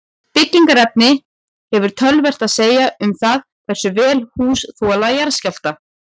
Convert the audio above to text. Byggingarefni hefur töluvert að segja um það hversu vel hús þola jarðskjálfta.